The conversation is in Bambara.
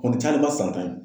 A kɔni cayalenba ye san tan ye.